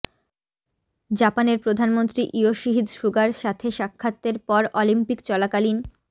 জাপানের প্রধানমন্ত্রী ইয়োশিহিদ সুগার সাথে সাক্ষাতের পর অলিম্পিক চলাকালীন